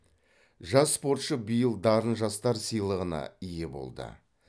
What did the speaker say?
жас спортшы биыл дарын жастар сыйлығына ие болды